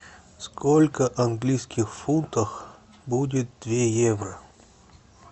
сколько в английских фунтах будет две евро